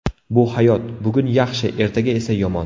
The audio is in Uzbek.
Bu hayot, bugun yaxshi ertaga esa yomon.